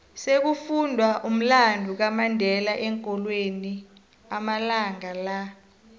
sekufundwa umlando kamandela eenkolweni amalanga la